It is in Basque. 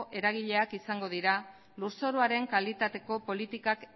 eragileak izango dira lur zoruaren kalitateko politikak